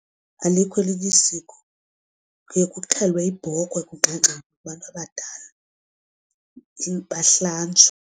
Alikho elinye isiko kuye kuxhelwe ibhokhwe kungxengxezwe kubantu abadala bahlanjwe.